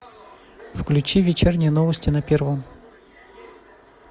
включи вечерние новости на первом